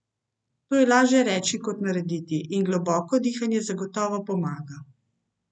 To je laže reči kot narediti, in globoko dihanje zagotovo pomaga.